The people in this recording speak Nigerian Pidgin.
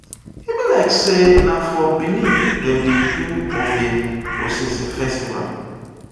e be like sey na for bini dem dey do ovia osese festival.